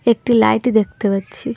একটি লাইট দেখতে পাচ্ছি।